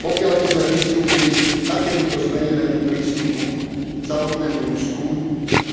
Pokiaľ by sme pristúpili k takémuto zmenenému prístupu k samotnému Rusku,